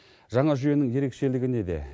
жаңа жүйенің ерекшелігі неде